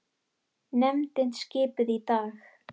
Nefndin skipuð í dag